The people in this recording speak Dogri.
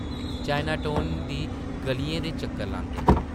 चायना टाऊन दी गʼलियें दे चक्कर लांदे ।